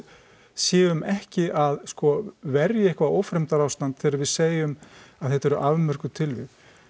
séum ekki að sko verja eitthvað ófremdarástand þegar við segjum að þetta eru afmörkuð tilvik